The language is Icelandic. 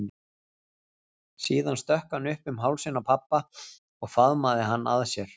Síðan stökk hann upp um hálsinn á pabba og faðmaði hann að sér.